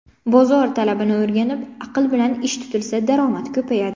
Bozor talabini o‘rganib, aql bilan ish tutilsa, daromad ko‘payadi”.